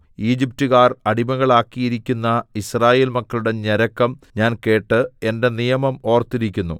ഈജിപ്റ്റുകാർ അടിമകളാക്കിയിരിക്കുന്ന യിസ്രായേൽ മക്കളുടെ ഞരക്കം ഞാൻ കേട്ട് എന്റെ നിയമം ഓർത്തിരിക്കുന്നു